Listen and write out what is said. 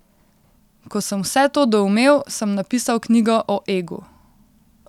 Ko sem vse to doumel, sem napisal knjigo o egu.